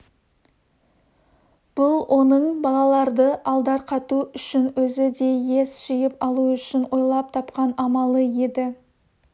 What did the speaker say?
бұл оның балаларды алдарқату үшін өзі де ес жиып алу үшін ойлап тапқан амалы еді